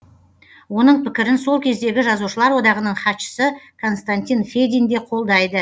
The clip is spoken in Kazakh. оның пікірін сол кездегі жазушылар одағының хатшысы константин федин де қолдайды